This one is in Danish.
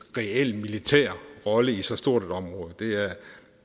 reel militær rolle i så stort et område